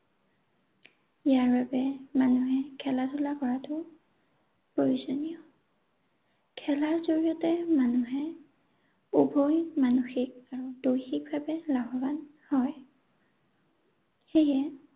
ইয়াৰ বাবে মানুহে খেলা ধূলা কৰাটো প্ৰয়োজনীয়। খেলাৰ জৰিয়তে মানুহে উভয়ে মানসিক আৰু দৈহিকভাৱে লাভৱান হয়। সেয়ে